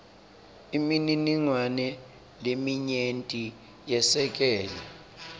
imininingwane leminyenti yesekela